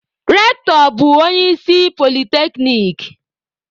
Rectọ bụ onye isi na polyteknic